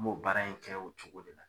N m'o baara in kɛ o cogo de la